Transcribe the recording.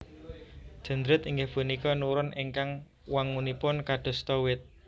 Dendrit inggih punika neuron ingkang wangunipun kadasta wit